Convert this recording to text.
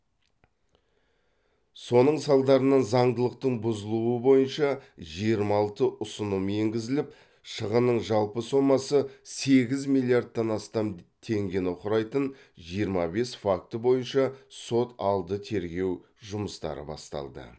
соның салдарынан заңдылықтың бұзылуы бойынша жиырма алты ұсыным енгізіліп шығынның жалпы сомасы сегіз миллиардтан астам теңгені құрайтын жиырма бес факті бойынша сот алды тергеу жұмыстары басталды